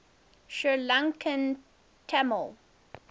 sri lankan tamil